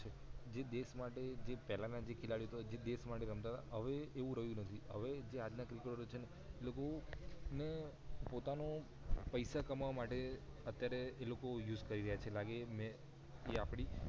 જે દેશ માટે પહેલા ના જે ખેલાડી હતા જે દેશ માટે રમતા હતા હવે એવું રહીયુ નથી હવે આજના PREPARATIO લોકો ને પોતાનું પૈસા કમાવા માટે અત્યારે એલોકો use થઈ રહિયા છે લાગે એ આપડી